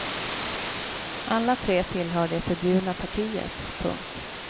Alla tre tillhör det förbjudna partiet. punkt